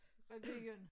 Revyen